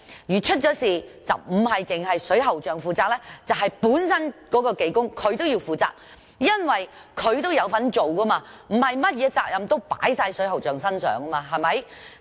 如果發生事故，並非只有水喉匠負責，而是負責工程的技工也要負責，因為他有參與工程，不應將所有責任推到水喉匠身上。